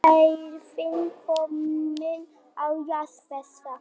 Ég get ekki neitað þeim því, hversu leiðinlegur væri ég ef ég myndi gera slíkt?